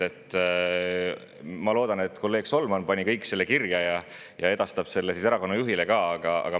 Ma loodan, et kolleeg Solman pani kõik selle kirja ja edastab selle erakonna juhile ka.